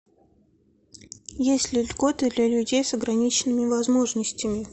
есть ли льготы для людей с ограниченными возможностями